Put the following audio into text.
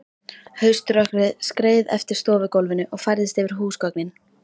Hauströkkrið skreið eftir stofugólfinu og færðist yfir húsgögnin.